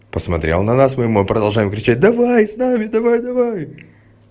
посмотрел на нас мы ему продолжаем кричать давай с нами давай давай